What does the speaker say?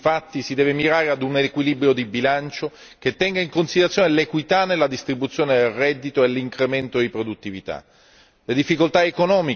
Visto il contesto di crisi, infatti, si deve mirare ad un riequilibrio di bilancio che tenga in considerazione l'equità nella distribuzione del reddito e l'incremento di produttività.